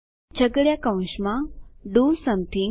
છગડીયા કૌંસમાં do something